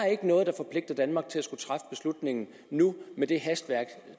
noget der forpligter danmark til at skulle træffe beslutningen nu med det hastværk